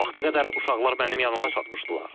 O vaxta qədər uşaqlar mənim yanıma çatmışdılar.